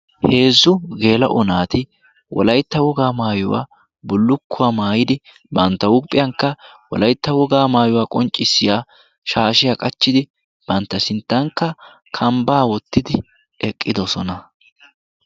Heezzu geela'o naati wolaytta wogaa maayuwaa bullukkuwaa maayidi bantta huuuphiyankka wolaytta wogaa maayuwaa qonccissiya shaashiyaa qachchidi bantta sinttankka kambbaa wottidi eqqidosona.